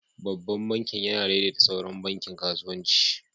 Babban bankin yana daidaita sauran bankin kasuwanci.